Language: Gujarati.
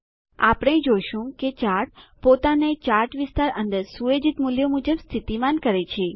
આપણે જોશું કે ચાર્ટ પોતાને ચાર્ટ વિસ્તાર અંદર સુયોજિત મુલ્યો મુજબ સ્થિતિમાન કરે છે